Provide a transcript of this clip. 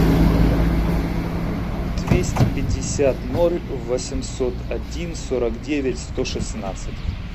двести пятьдесят ноль восемьсот один сорок девять сто шестнадцать